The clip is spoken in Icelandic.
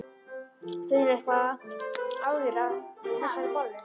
Finnurðu eitthvað á þér af þessari bollu?